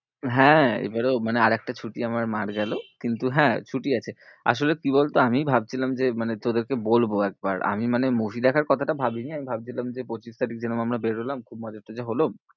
হ্যাঁ এবারেও মানে আরেকটা ছুটি আমার মার্ গেলো। কিন্তু হ্যাঁ ছুটি আছে, আসলে কি বলতো আমি ভাবছিলাম যে, মানে তোদেরকে বলবো একবার। আমি মানে movie দেখার কথাটা ভাবিনি। আমি ভাবছিলাম যে পঁচিশ তারিখ যেরকম আমরা বেরোলাম খুব মজা টজা হলো।